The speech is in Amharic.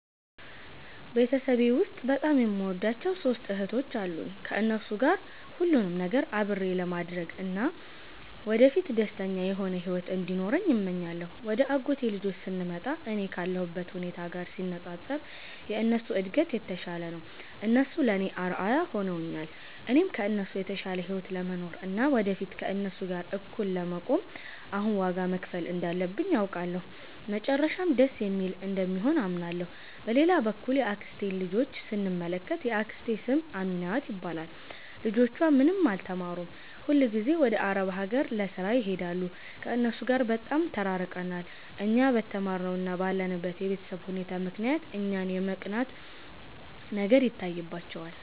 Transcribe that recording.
ቤተሰቤ ውስጥ በጣም የምወዳቸው ሦስት እህቶች አሉኝ። ከእነሱ ጋር ሁሉንም ነገር አብሬ ለማድረግ እና ወደፊት ደስተኛ የሆነ ሕይወት እንዲኖረን እመኛለሁ። ወደ አጎቴ ልጆች ስንመጣ፣ እኔ ካለሁበት ሁኔታ ጋር ሲነጻጸር የእነሱ እድገት የተሻለ ነው። እነሱ ለእኔ አርአያ ሆነውኛል። እኔም ከእነሱ የተሻለ ሕይወት ለመኖር እና ወደፊት ከእነሱ ጋር እኩል ለመቆም አሁን ዋጋ መክፈል እንዳለብኝ አውቃለሁ፤ መጨረሻውም ደስ የሚል እንደሚሆን አምናለሁ። በሌላ በኩል የአክስቴን ልጆች ስንመለከት፣ የአክስቴ ስም አሚናት ይባላል። ልጆቿ ምንም አልተማሩም፤ ሁልጊዜም ወደ አረብ አገር ለሥራ ይሄዳሉ። ከእነሱ ጋር በጣም ተራርቀናል። እኛ በተማርነው እና ባለንበት የቤተሰብ ሁኔታ ምክንያት እኛን የመቅናት ነገር ይታይባቸዋል